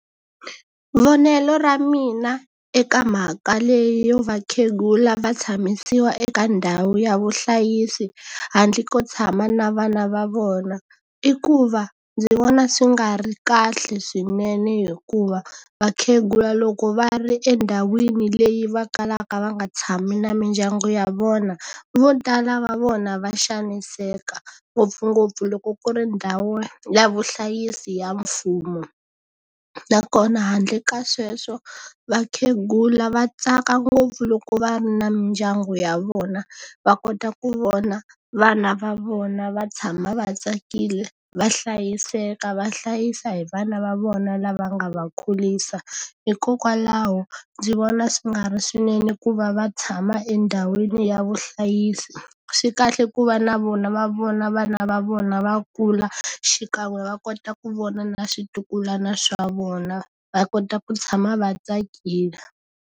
Vonelo ra mina eka mhaka leyo vakhegula va tshamisiwa eka ndhawu ya vuhlayisi handle ko tshama na vana va vona, i ku va ndzi vona swi nga ri kahle swinene hikuva vakhegula loko va ri endhawini leyi va kalaka va nga tshami na mindyangu ya vona, vo tala va vona va xaniseka. Ngopfungopfu loko ku ri ndhawu ya vuhlayisi ya mfumo. Nakona handle ka sweswo vakhegula va tsaka ngopfu loko va ri na mindyangu ya vona, va kota ku vona vana va vona va tshama va tsakile, va hlayiseka, va hlayisa hi vana va vona lava nga va kurisa. Hikokwalaho ndzi vona swi nga ri swinene ku va va tshama endhawini ya vuhlayisi. Swi kahle ku va na vona va vona vana va vona va kula, xikan'we va kota ku vona na switukulwana swa vona, va kota ku tshama va tsakile.